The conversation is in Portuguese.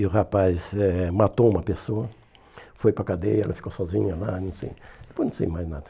E o rapaz eh matou uma pessoa, foi para a cadeia, ela ficou sozinha lá, não sei, depois não sei mais nada.